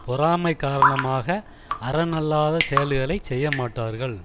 பொறாமை காரணமாக அறனல்லாத செயல்களை செய்யமாட்டார்கள்